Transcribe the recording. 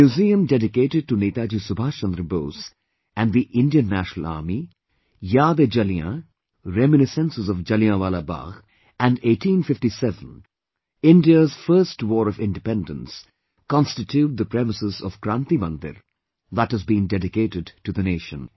A museum dedicated to Netaji Subhash Chandra Bose and the Indian National Army; YaadeJalian, reminiscences of Jalianwala Bagh and 1857 India's first war of Independence constitute the premises of 'Kranti Mandir', that has been dedicated to the nation